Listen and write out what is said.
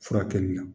Furakɛli la